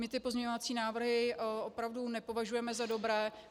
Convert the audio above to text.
My ty pozměňovací návrhy opravdu nepovažujeme za dobré.